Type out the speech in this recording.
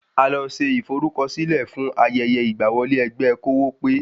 A lọ ṣe ìforúkọsílẹ̀ fún ayẹyẹ ìgbà wọlé ẹgbẹ́ kówópé